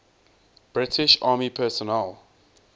british army personnel